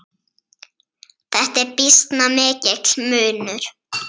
Þetta er býsna mikill munur.